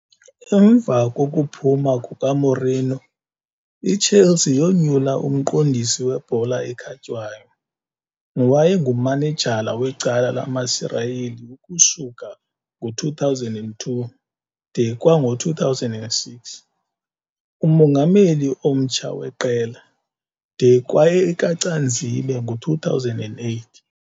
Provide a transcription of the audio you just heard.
Emva kokuphuma kukaMourinho, iChelsea yoonyula uMqondisi weBhola ekhatywayo ], nowayengumanejala wecala lamaSirayeli ukusuka ngo-2002 de kwango-2006, umongameli omtsha weqela, de kwayekaCanzibe ngo-2008.